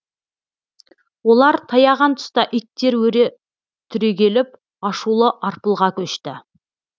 олар таяған тұста иттер өре түрегеліп ашулы арпылға көшті